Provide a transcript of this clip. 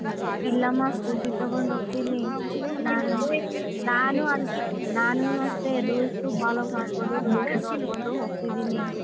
ಇಲ್ಲಮ್ಮ scooty ತಗೊಂಡು ಹೋಗ್ತೀನಿ ನಾನ್ ನಾನು ಅದಕ್ಕೆ ನಾನು ಅಷ್ಟೇ rules follow ಮಾಡ್ಕೊಂಡು rules ನೋಡ್ಕೊಂಡು ಹೋಗ್ತಿದೀನಿ.